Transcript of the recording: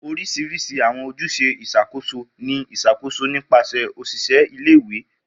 Orisirisi awọn ojuse iṣakoso ni iṣakoso nipasẹ oṣiṣẹ ìle-ìwe.